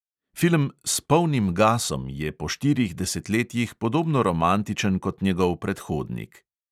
Film "s polnim gasom" je po štirih desetletjih podobno romantičen kot njegov predhodnik.